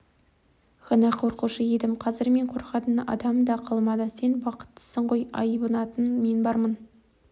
ғана қорқушы едім қазір мен қорқатын адам да қалмады сен бақыттысың ғой айбынатын мен бармын